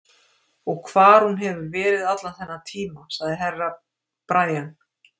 Og hvar hún hefur verið allan þennan tíma, sagði Herra Brian.